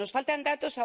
Nos faltan datos.